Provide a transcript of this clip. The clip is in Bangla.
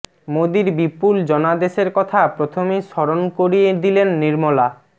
মোদীর বিপুল জনাদেশের কথা প্রথমেই স্মরণ করিয়ে দিলেন নির্মলা